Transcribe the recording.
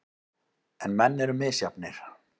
En menn eru misjafnir.